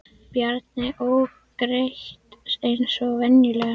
Bjarni ók greitt eins og venjulega.